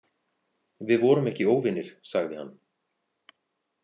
Við vorum ekki óvinir, sagði hann.